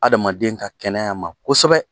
Adama ka kɛnɛya ma kosɛbɛ.